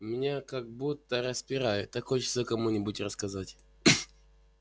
меня как будто распирает так хочется кому-нибудь рассказать